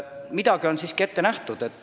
Midagi on neile siiski ette nähtud.